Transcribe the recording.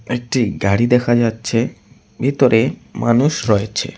একটি গাড়ি দেখা যাচ্ছে ভেতরে মানুষ রয়েছে।